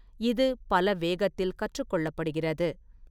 இது பல வேகத்தில் கற்றுக் கொள்ளப்படுகிறது.